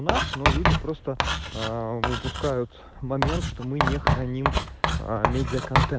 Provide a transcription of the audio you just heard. наш но люди просто ээ упускают момент что мы не храним медиа конте